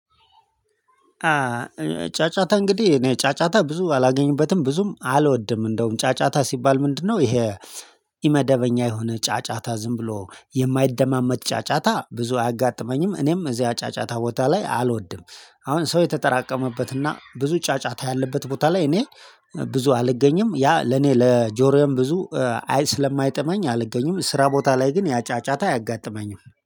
ጫጫታ እንግዲህ እኔ ጫጫታ ብዙ አላገኝበትም ብዙም አልወድም እንደውም ጫጫታ ሲባል ምንድነው? ይሄ ኢመደበኛ የሆነ ጫጫታ ዝም ብሎ የማይደማመጥ ጫጫታ ብዙ አያጋጥመኝም እኔም እዚያ ጫጫታ ቦታ ላይ አልወድም። አሁን ሰው የተጠራቀመበትና ብዙ ጫጫታ ያለበት ቦታ ላይ እኔ ብዙ አልገኝም ያ ለኔ ለጆሮዬም ብዙ አይ ስለማይጠመኝ አልገኝም። ስራ ቦታ ላይ ግን ያ ጫጫታ አያጋጥመኝም